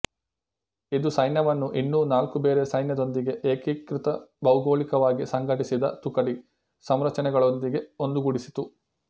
ಇದು ಸೈನ್ಯವನ್ನು ಇನ್ನೂ ನಾಲ್ಕು ಬೇರೆ ಸೈನ್ಯ ದೊಂದಿಗೆ ಏಕೀಕೃತ ಭೌಗೋಳಿಕವಾಗಿ ಸಂಘಟಿಸಿದ ತುಕಡಿ ಸಂರಚನೆಗಳೊಂದಿಗೆ ಒಂದುಗೂಡಿಸಿತು